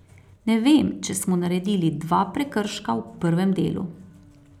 Ne vem, če smo naredili dva prekrška v prvem delu.